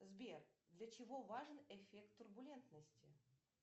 сбер для чего важен эффект турбулентности